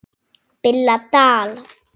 BILLA DAL